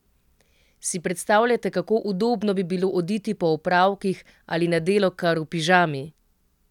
Si predstavljate, kako udobno bi bilo oditi po opravkih ali na delo kar v pižami?